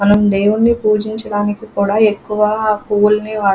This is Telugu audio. మనం దేవుణ్ణి పూజించడానికి కూడా ఎక్కువ పూవులని వాడు --